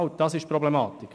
Das ist das Problem.